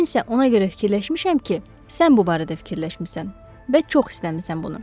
Mən isə ona görə fikirləşmişəm ki, sən bu barədə fikirləşmisən və çox istəmisan bunu.